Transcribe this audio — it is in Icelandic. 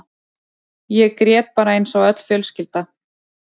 Ég grét bara eins og öll mín fjölskylda.